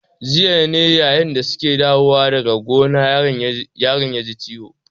Jiya ne yayin da su ke dawowa daga gona yaron ya ji ciwo.